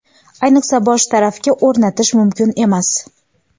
ayniqsa bosh tarafga o‘rnatish mumkin emas.